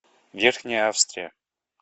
верхняя австрия